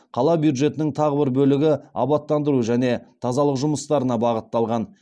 қала бюджетінің тағы бір бөлігі абаттандыру және тазалық жұмыстарына бағытталған